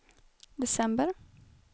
december